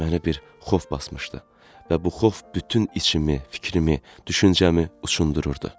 Məni bir xof basmışdı və bu xof bütün içimi, fikrimi, düşüncəmi uçundururdu.